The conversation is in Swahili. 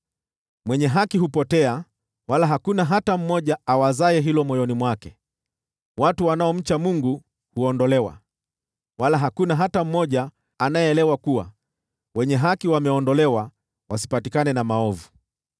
Mwenye haki hupotea, wala hakuna hata mmoja awazaye hilo moyoni mwake; watu wanaomcha Mungu huondolewa, wala hakuna hata mmoja anayeelewa kuwa wenye haki wameondolewa ili wasipatikane na maovu.